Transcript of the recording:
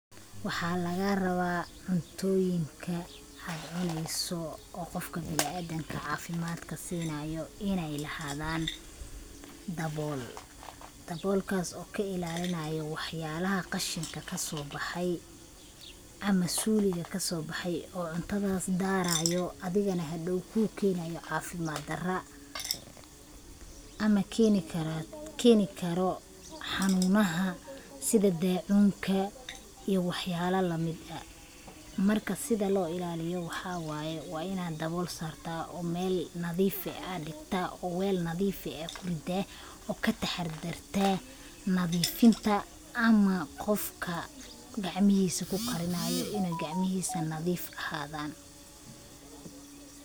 Waxaa lagaa rabaa cuntooyinka aad cuneyso oo qofka binaadinka caafimaadka siinaayo inay lahaadaan dabol. Daboolkaas oo kailaalinaayo waxyaalaha khashinka kasoo baxay ama suuliga kasoo baxay, oo cuntadaas daaraayo, adigana hadhow kuukeenaayo cafimaad dara ama keenikaro hanuunaha sida daacuunka iyo waxyaalo lamid ah. Marka sida loo ilaaliyo waxaa waayi waa inaad dabool sartaa oo meel nadiif ah aad dhigtaa, oo weel nadiif ah aad ku riddaa, oo kataxdirtaa nadiifinta, ama qofka gacamihiisa kukarinaayo inay gacamihiisa nadiif ahaadaan.